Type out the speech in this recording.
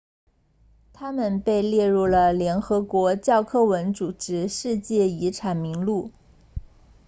它们被列入了联合国教科文组织世界遗产名录